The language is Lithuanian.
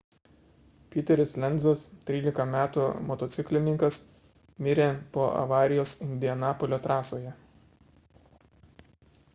peteris lenzas 13 m motociklininkas mirė po avarijos indianapolio trasoje